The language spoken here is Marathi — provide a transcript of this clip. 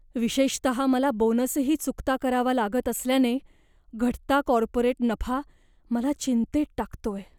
विशेषतः मला बोनसही चुकता करावा लागत असल्याने, घटता कॉर्पोरेट नफा मला चिंतेत टाकतोय.